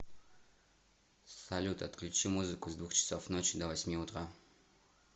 салют отключи музыку с двух часов ночи до восьми утра